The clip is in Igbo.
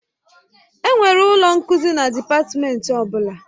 Enwere ụlọ nkuzi na dịpatmenti ọ bụla